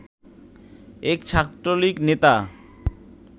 এক ছাত্রলীগ নেতা